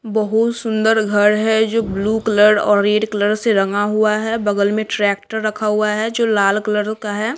बहुत सुंदर घर है जो ब्लू कलर और रेड कलर से रंगा हुआ है बगल में ट्रैक्टर रखा हुआ है जो लाल कलर का है।